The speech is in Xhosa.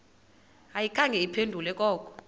ayikhange iphendule koko